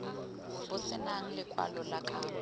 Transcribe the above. bo senang lekwalo la kabo